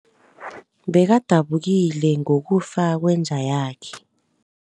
Bekadabukile ngokufa kwenja yakhe.